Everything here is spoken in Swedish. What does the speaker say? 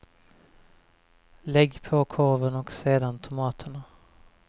Lägg på korven och sedan tomaterna.